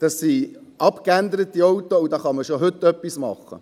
Das sind abgeänderte Fahrzeuge, und da kann man schon heute etwas machen.